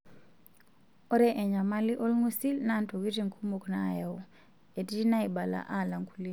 Ore enyamali olngusil naa ntokitin kumok naayau, etii naibala alang' kulie.